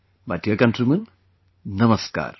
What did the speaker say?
My dear countrymen, Namaskar